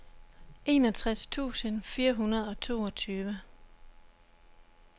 enogtres tusind fire hundrede og toogtyve